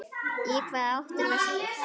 Í hvaða átt er vestur?